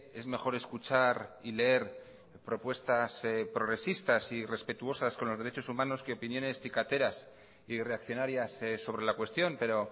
es mejor escuchar y leer propuestas progresistas y respetuosas con los derechos humanos que opiniones cicateras y reaccionarias sobre la cuestión pero